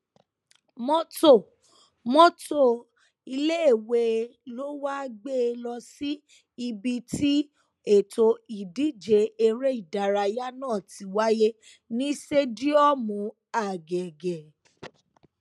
mọtò mọtò iléèwé ló wáá gbé e lọ sí ibi tí ètò ìdíje eré ìdárayá náà ti wáyé ní sẹdíọmù àgẹgẹ